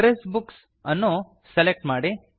address books ಅನ್ನು select ಮಾಡಿ